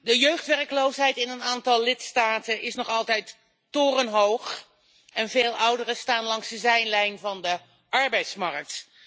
De jeugdwerkloosheid in een aantal lidstaten is nog altijd torenhoog en veel ouderen staan langs de zijlijn van de arbeidsmarkt.